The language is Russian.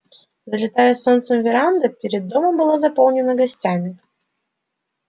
залитая солнцем веранда перед домом была заполнена гостями